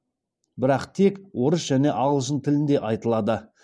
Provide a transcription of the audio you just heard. бірақ тек орыс және ағылшын тілінде айтылады